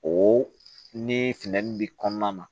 O ni funtɛni bi kɔnɔna na